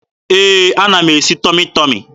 Ee, ana m esi Tọmị Tọmị.